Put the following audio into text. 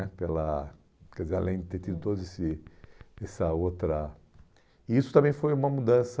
né pela, quer dizer, além de ter tido toda esse essa outra... Isso também foi uma mudança...